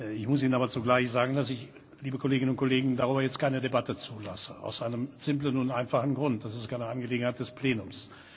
Ich muss Ihnen aber zugleich sagen, liebe Kolleginnen und Kollegen, dass ich darüber jetzt keine Debatte zulasse, aus einem simplen und einfachen Grund Das ist keine Angelegenheit des Plenums.